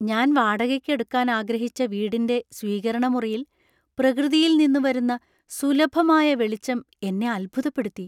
ഞാൻ വാടകയ്ക്ക് എടുക്കാൻ ആഗ്രഹിച്ച വീടിന്‍റെ സ്വീകരണമുറിയിൽ പ്രകൃതിയിൽ നിന്നു വരുന്ന സുലഭമായ വെളിച്ചം എന്നെ അത്ഭുതപ്പെടുത്തി.